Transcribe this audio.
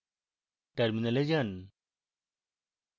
terminal যান